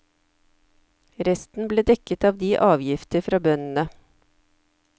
Resten ble dekket av de avgifter fra bøndene.